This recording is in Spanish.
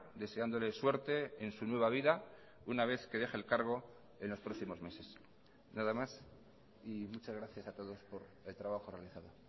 deseándole suerte en su nueva vida una vez que deje el cargo en los próximos meses nada más y muchas gracias a todos por el trabajo realizado